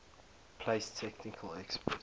place technical experts